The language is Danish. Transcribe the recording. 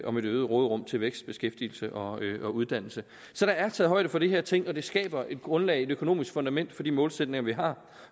om et øget råderum til vækst beskæftigelse og uddannelse så der er taget højde for de her ting det skaber et grundlag og et økonomisk fundament for de målsætninger vi har